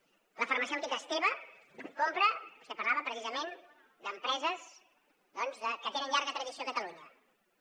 la farmacèutica esteve compra vostè parlava precisament d’empreses doncs que tenen llarga tradició a catalunya